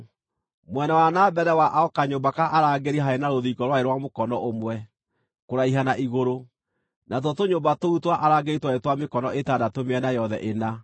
Mwena wa na mbere wa o kanyũmba ka arangĩri haarĩ na rũthingo rwarĩ rwa mũkono ũmwe kũraiha na igũrũ, natuo tũnyũmba tũu twa arangĩri twarĩ twa mĩkono ĩtandatũ mĩena yothe ĩna.